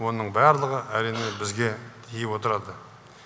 оның барлығы әрине бізге тиіп отырады